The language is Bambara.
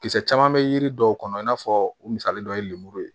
Kisɛ caman bɛ yiri dɔw kɔnɔ i n'a fɔ u misali dɔ ye lemuru ye